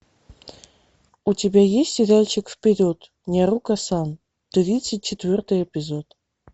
у тебя есть сериальчик вперед няруко сан тридцать четвертый эпизод